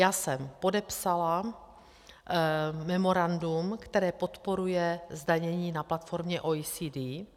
Já jsem podepsala memorandum, které podporuje zdanění na platformě OECD.